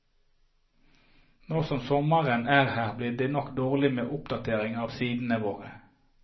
Nå som sommeren er her, blir det nok dårlig med oppdatering av sidene våre.